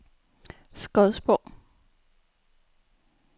Skodsborg